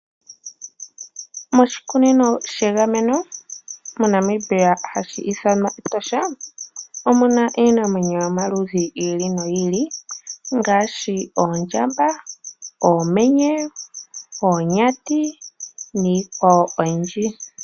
Moshikunino shegameno moNamibia hashi ithanwa etosha omuna iinamwenyo yomaludhi yiili noyiili ngaashi oondjamba, oomenye, oonyati niikwawo oyindji.